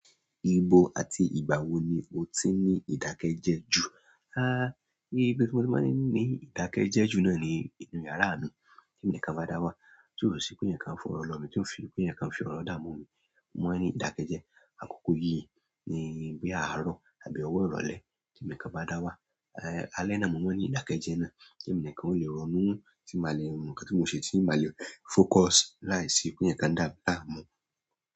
Ibo àti ìgbà wo ni o ti ń ní ìdákẹ́jẹ́ jù? Ah, ibi tí mo ti máa ń ní ìdákẹ́jẹ́ jù náà ni inú yàrá mi. Tí èmi nìkan bá dáwà tí ó ṣí pé èèyàn kan fọwọ́ lọ mi tí ó ṣí pé èèyàn kan fi orin dààmú mi mo máa ní ìdákẹ́jẹ́. Àkókò yí ni bí àárọ̀ àbí ọ̀wọ́ ìrọ̀lẹ́ tí èmi ní kan bá dá wà. Alẹ́ náà mo máa ní ìdákẹ́jẹ́ náà tí èmi ní kan o le rọ̀nú tí màá le mọ̀ nǹkan tí mo ṣe, tí màá le focus láìsí pé èèyàn kan dà mí láàmú.